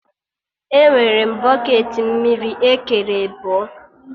Enwere m bọketị mmiri ekere ebọ